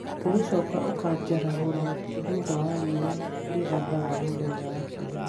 ũgĩcooka ũkanjarahũra thũtha wa riũa rĩrathaga mũthenya wa Kiumia